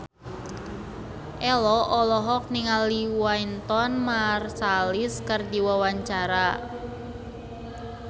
Ello olohok ningali Wynton Marsalis keur diwawancara